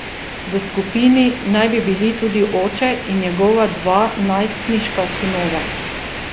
V skupini naj bi bili tudi oče in njegova dva najstniška sinova.